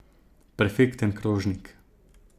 Perfekten krožnik!